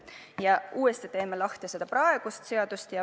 Teeme uuesti lahti praeguse seaduse.